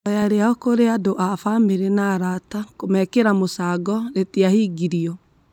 Ihoya rĩao kũrĩ andũ a bamĩrĩ na arata kũmekĩra mũcango, rĩtiahingirio.